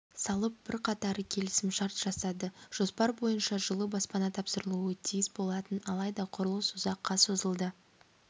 салып бірқатары келісімшарт жасады жоспар бойынша жылы баспана тапсырылуы тиіс болатын алайда құрылыс ұзаққа созылды